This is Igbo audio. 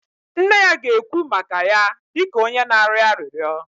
Nne ya ga-ekwu maka ya dị ka onye na-arịọ arịrịọ